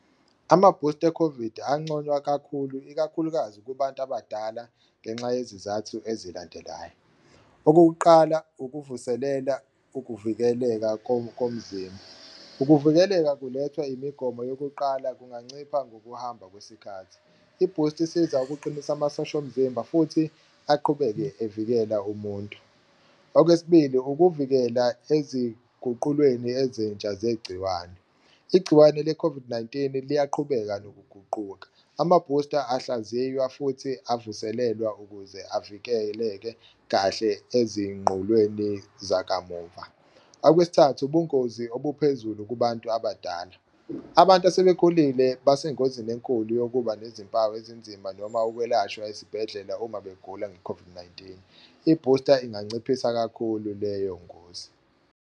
Ama-booster e-COVID anconywa kakhulu, ikakhulukazi kubantu abadala ngenxa yezizathu ezilandelayo. Okokuqala, ukuvuselela ukuvikeleka komzimba, ukuvikeleka kulethwa imigomo yokuqala kunganciphisa ngokuhamba kwesikhathi, ibhusti isiza ukuqinisa amasosha omzimba futhi aqhubeke evikela umuntu. Okwesibili, ukuvikela eziguqulweni ezintsha zegciwane, igciwane le COVID-19 liyaqhubeka nokuguquka amabhusta ahlaziywa futhi avuselelwa ukuze avikeleke kahle ezinqolweni zakamuva. Okwesithathu, ubungozi obuphezulu kubantu abadala, abantu asebekhulile basengozini enkulu yokuba nezimpawu ezinzima noma ukwelashwa esibhedlela uma begula nge-COVID-19, ibhusta inganciphisa kakhulu leyo ngozi.